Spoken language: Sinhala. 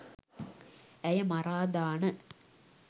ඇය මරා දාන